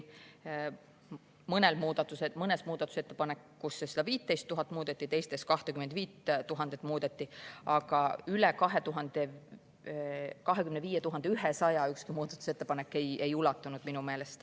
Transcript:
Mõnes muudatusettepanekus muudeti seda 15 000, teistes muudeti seda 25 000, aga üle 25 100 minu meelest ükski muudatusettepanek ei ulatunud.